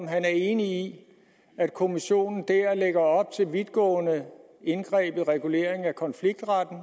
han enig i at kommissionen dér lægger op til vidtgående indgreb i reguleringen af konfliktretten